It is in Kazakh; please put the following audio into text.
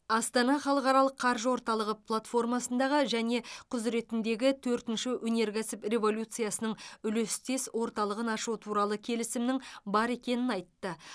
астана халықаралық қаржы орталығы платформасындағы және құзыретіндегі төртінші өнеркәсіп революциясының үлестес орталығын ашу туралы келісімнің бар екенін айтты